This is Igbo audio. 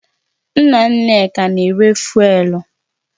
Nna Nneka na-ere fụ́élú